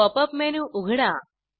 pop up menu उघडा